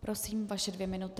Prosím, vaše dvě minuty.